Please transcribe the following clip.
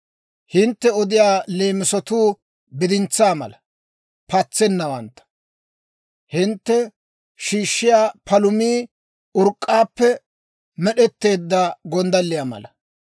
Hintte odiyaa leemisotuu bidintsaa mala patsennawantta; hintte shiishshiyaa palumii urk'k'aappe med'etteedda gonddalliyaa mala.